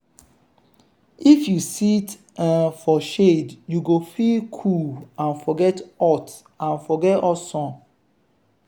if you sit um for shade you go feel cool and forget hot and forget hot sun.